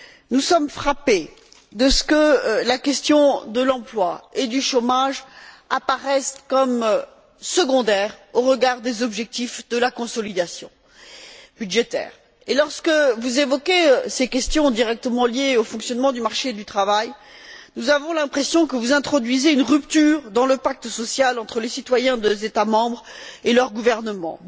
Nous sommes frappés de ce que la question de l'emploi et du chômage apparaisse comme secondaire au regard des objectifs de la consolidation budgétaire. Lorsque vous évoquez ces questions directement liées au fonctionnement du marché du travail, nous avons l'impression que vous introduisez une rupture dans le pacte social entre les citoyens des États membres et leurs gouvernements.